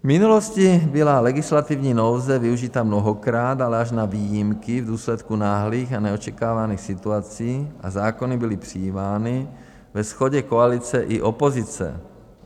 V minulosti byla legislativní nouze využita mnohokrát, ale až na výjimky v důsledku náhlých a neočekávaných situací, a zákony byly přijímány ve shodě koalice i opozice.